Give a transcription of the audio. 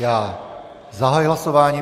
Já zahajuji hlasování.